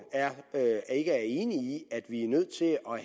ikke er enig i at vi er nødt til